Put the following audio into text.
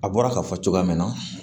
A bɔra ka fɔ cogoya min na